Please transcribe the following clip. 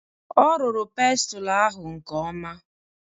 A rụrụ pestle ahụ nke ọma.